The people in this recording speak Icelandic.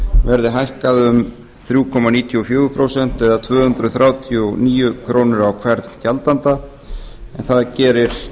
verði hækkað um þrjú komma níutíu og fjögur prósent eða tvö hundruð þrjátíu og níu krónur á hvern gjaldanda en það gerir